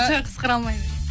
жоқ сықыра алмаймын